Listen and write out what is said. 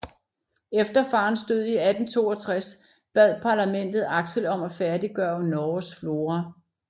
Efter farens død i 1862 bad Parlamentet Axel om at færdiggøre Norges Flora